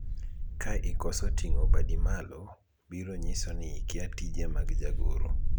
ka ikoso ting'o badi malo ,biro nyiso ni ikia tije mag jagoro